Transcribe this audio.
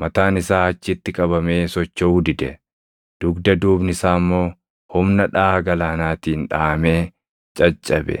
Mataan isaa achitti qabamee sochoʼuu dide; dudga duubni isaa immoo humna dhaʼaa galaanaatiin dhaʼamee caccabe.